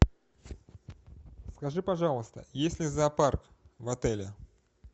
скажи пожалуйста есть ли зоопарк в отеле